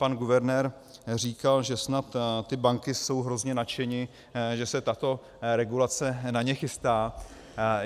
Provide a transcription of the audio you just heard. Pan guvernér říkal, že snad ty banky jsou hrozně nadšeny, že se tato regulace na ně chystá.